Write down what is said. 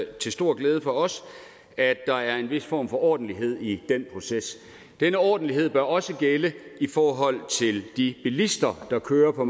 er til stor glæde for os at der er en vis form for ordentlighed i den proces denne ordentlighed bør også gælde i forhold til de bilister der kører på